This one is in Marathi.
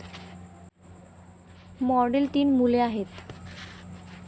मॉडेल तीन मुले आहेत.